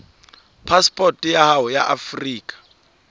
phasepoto ya hao ya afrika